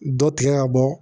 Dɔ tigɛ ka bɔ